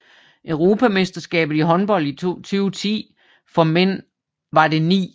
Europamesterskabet i håndbold 2010 for mænd var det 9